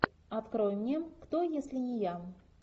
открой мне кто если не я